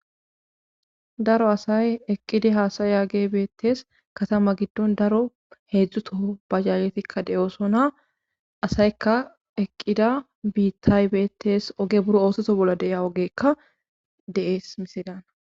Daro asay eqqidi haasaya ge beettes katama giddon daro heedzdzuto bajaaletikka de7oosona asaykka eqqida biittay beettes oge buro oosoto bolla de7ia ogeekka dees misidana.